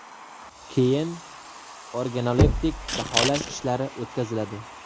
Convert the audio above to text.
Keyin organoleptik baholash ishlari o‘tkaziladi.